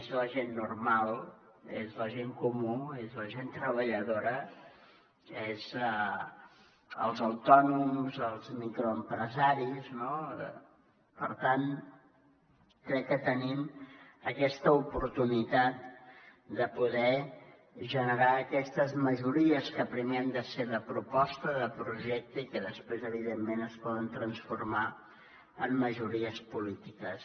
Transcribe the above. és la gent normal és la gent comú és la gent treballadora són els autònoms els microempresaris no per tant crec que tenim aquesta oportunitat de poder generar aquestes majories que primer han de ser de proposta de projecte i que després evidentment es poden transformar en majories polítiques